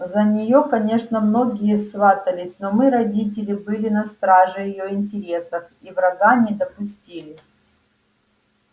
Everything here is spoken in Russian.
за нее конечно многие сватались но мы родители были на страже её интересов и врага не допустили